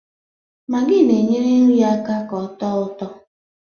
Magị na-enyere nri aka ka ọ tọọ ụtọ